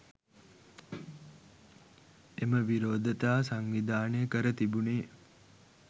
එම විරෝධතා සංවිධානය කර තිබුණේ